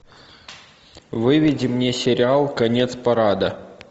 выведи мне сериал конец парада